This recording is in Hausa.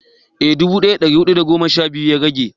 eh dubu daya da dari hudu da goma sha biyu ya rage